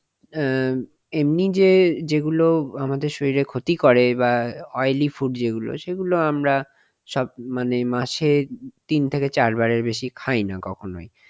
অ্যাঁ এমনি যে যেগুলো আমাদের শরীরের ক্ষতি করে বাহঃ oily food যেগুলো যেগুলো আমরা সব মানে মাসে তিন থেকে চার বারের বেশি খায় না কখনোই,